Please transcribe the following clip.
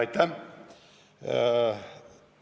Aitäh!